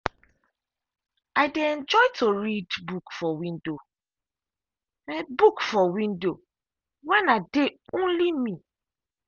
i dey enjoy to read book for window book for window when i dey only me.